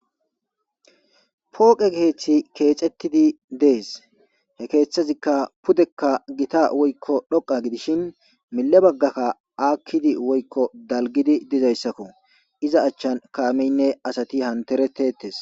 Pooqe ketha kexetid Des. He kethazika pudeka Gita woyko dhoqa gidishn mile bagaka akid woyko dalgid dizaysako , iza achan kameyinne asat hanteretetes.